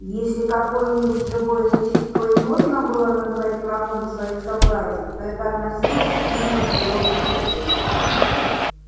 если какое-нибудь живое существо и можно было назвать врагом своих собратьев то это относилось именно к белому клыку